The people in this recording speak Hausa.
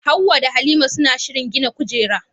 Hawwa da Halima suna shirin gina kujera.